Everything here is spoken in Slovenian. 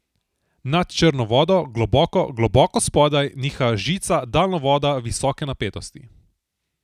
Nad črno vodo, globoko, globoko spodaj, niha žica daljnovoda visoke napetosti.